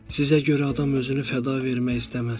Sizə görə adam özünü fəda vermək istəməz.